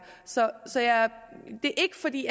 så det er ikke fordi